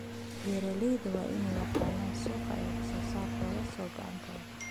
Beeraleydu waa inay yaqaaniin suuqa ay wax soo saarkooda soo go'aan ka hor.